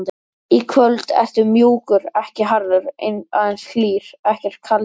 Í kvöld ertu mjúkur, ekki harður, aðeins hlýr, ekkert kaldur.